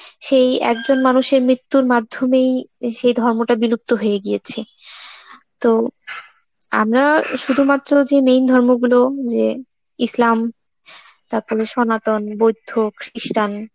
সেই একজন মানুষের মৃত্যুর মাধ্যমে এ সেই ধর্মটা বিলুপ্ত হয়ে গিয়েছে. তো আমরা শুধুমাত্র যে main ধর্মগুলো যে ইসলাম, তারপরে সনাতন, বৈদ, Christian,